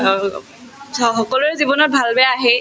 অম্, চাওক সকলোৰে জীৱনত ভাল-বেয়া আহেই